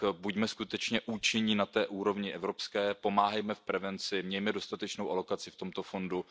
Buďme skutečně účinní na té úrovni evropské, pomáhejme v prevenci, mějme dostatečnou alokaci v tomto fondu.